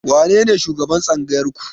Wanene shugaban Tsangayar ku?